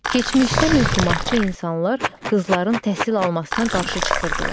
Keçmişdə möhumatçı insanlar qızların təhsil almasına qarşı çıxırdılar.